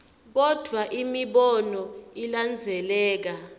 kodvwa imibono ilandzeleka